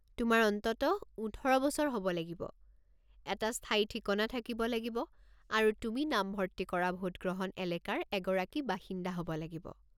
তোমাৰ অন্ততঃ ১৮ বছৰ হ'ব লাগিব, এটা স্থায়ী ঠিকনা থাকিব লাগিব আৰু তুমি নামভৰ্তি কৰা ভোটগ্ৰহণ এলেকাৰ এগৰাকী বাসিন্দা হ'ব লাগিব।